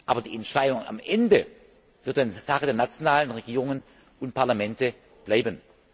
Aber die Entscheidung am Ende wird dann Sache der nationalen Regierungen und Parlamente bleiben.